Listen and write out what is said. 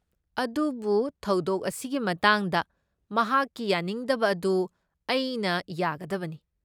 ꯑꯗꯨꯕꯨ, ꯊꯧꯗꯣꯛ ꯑꯁꯤꯒꯤ ꯃꯇꯥꯡꯗ ꯃꯍꯥꯛꯀꯤ ꯌꯥꯅꯤꯡꯗꯕ ꯑꯗꯨ ꯑꯩꯅ ꯌꯥꯒꯗꯕꯅꯤ ꯫